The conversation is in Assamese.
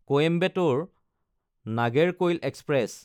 কইম্বেটৰ–নাগেৰকৈল এক্সপ্ৰেছ